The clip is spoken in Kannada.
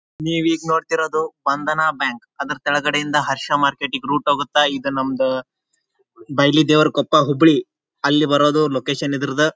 ನೀವು ಈಗ್ನೋಡ್ತಿರೋದು ಬಂದನಾ ಬ್ಯಾಂಕ್ ಅದರ್ ಕೆಳಗಡೆಯಿಂದ ಹರ್ಷ ಮಾರ್ಟಿಗ್ ರೂಟ್ ಹೋಗುತ್ತ ಇದ ನಮ್ದು ಬಯಲು ದೇವರ ಕೊಪ್ಪ ಹುಬ್ಳಿ ಅಲ್ಲಿ ಬರೋದು ಲೊಕೇಶನ್ ಇದರ್ದ.